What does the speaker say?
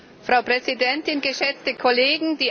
Frau Präsidentin, geschätzte Kollegen!